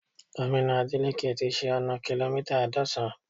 Gómìnà Adeleke ti ṣe ọna kìlómítà àádọ́san